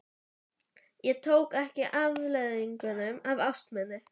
Ég tók ekki afleiðingum af ást minni.